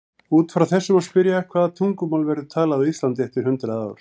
Út frá þessu má spyrja: Hvaða tungumál verður talað á Íslandi eftir hundrað ár?